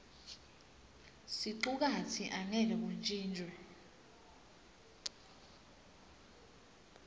sicukatsi angeke kuntjintjwe